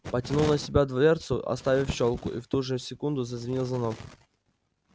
потянул на себя дверцу оставив щёлку и в ту же секунду зазвенел звонок